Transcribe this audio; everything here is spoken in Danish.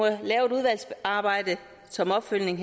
lave et udvalgsarbejde som opfølgning